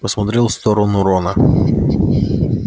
посмотрел в сторону рона